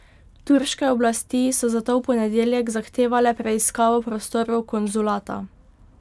Turške oblasti so zato v ponedeljek zahtevale preiskavo prostorov konzulata.